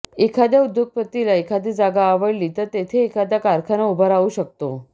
एखाद्या उद्योगपतीला एखादी जागा आवडली तर तेथे एखादा कारखाना उभा राहू शकतो